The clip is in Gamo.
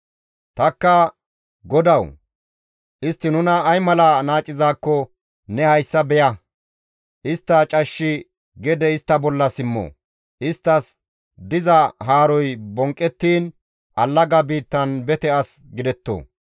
Tanikka, «Godawu! Istti nuna ay mala naacizaakko ne hayssa beya; istta cashshi gede istta bolla simmo; isttas diza haaroy bonqqettiin allaga biittan bete as gidetto!